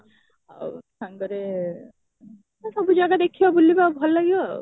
ଆଉ ସାଙ୍ଗରେ ଆଉ ସବୁ ଜାଗା ଦେଖିବା ବୁଲିବା ଭଲ ଲାଗିବ ଆଉ